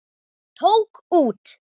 Tók út.